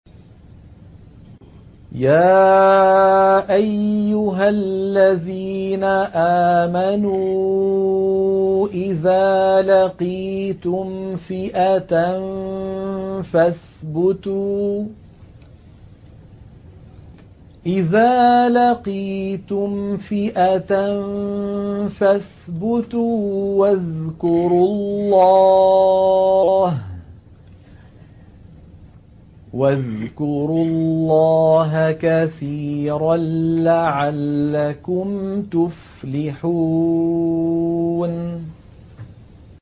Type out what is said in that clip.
يَا أَيُّهَا الَّذِينَ آمَنُوا إِذَا لَقِيتُمْ فِئَةً فَاثْبُتُوا وَاذْكُرُوا اللَّهَ كَثِيرًا لَّعَلَّكُمْ تُفْلِحُونَ